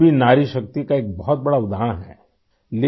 آپ بھی ناری شکتی کی ایک بہت بڑی مثال ہیں